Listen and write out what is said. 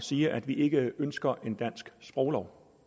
sige at vi ikke ønsker en dansk sproglov